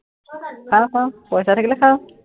খাওঁ, খাওঁ, পইচা থাকিলে খাওঁ।